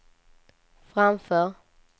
framför